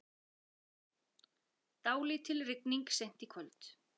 Dálítil rigning seint í kvöld